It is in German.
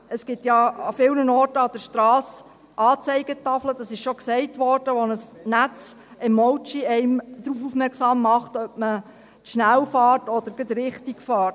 Es gibt ja an vielen Orten entlang der Strassen Anzeigetafeln, wie bereits gesagt wurde, bei denen ein nettes Emoji einen darauf aufmerksam macht, ob man zu schnell oder gerade richtig fährt.